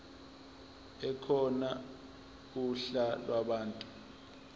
ekhona uhla lwabantu